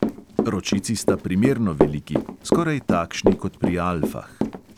Ročici sta primerno veliki, skoraj takšni kot pri alfah.